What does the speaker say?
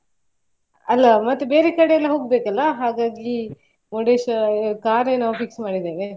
ಅಲ್ಲಾ ಮತ್ತೆ ಬೇರೆ ಕಡೆ ಎಲ್ಲಾ ಹೋಗ್ಬೇಕಲ್ಲಾ ಹಾಗಾಗಿ Murdeshwara car ಯೇ ನಾವು fix ಮಾಡಿದ್ದೇವೆ.